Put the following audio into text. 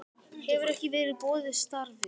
Hefur ekki verið boðið starfið